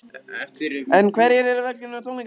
En hverjir eru velkomnir á tónleikana?